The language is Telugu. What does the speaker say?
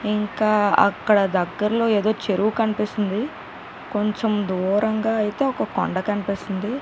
ఇంకా అక్కడ దగ్గర లో ఏదో చెరువు కనిపిస్తుంది కొంచం దూరంగా అయితే కొండా కనిపిస్తుంది .